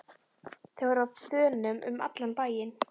Þeir voru á þönum um allan bæinn.